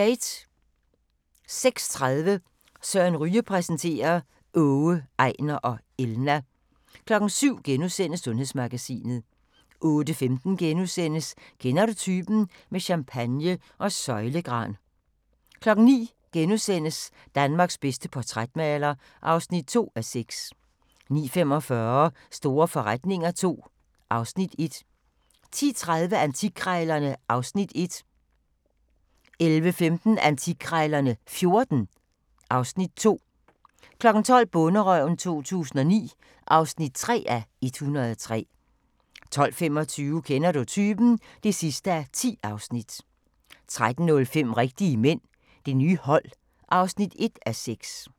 06:30: Søren Ryge præsenterer: Åge, Ejnar og Elna 07:00: Sundhedsmagasinet * 08:15: Kender du typen? – med champagne og søjlegran * 09:00: Danmarks bedste portrætmaler (2:6)* 09:45: Store forretninger II (Afs. 1) 10:30: Antikkrejlerne (Afs. 1) 11:15: Antikkrejlerne XIV (Afs. 2) 12:00: Bonderøven 2009 (3:103) 12:25: Kender du typen? (10:10) 13:05: Rigtige mænd – Det nye hold (1:6)